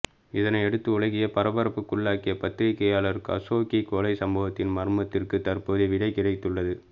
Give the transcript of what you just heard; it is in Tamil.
இதனையடுத்து உலகையே பரபரப்புக்குள்ளாக்கிய பத்திரிகையாளர் கசோகி கொலை சம்பவத்தின் மர்மத்திற்கு தற்போது விடை கிடைத்துள்ளது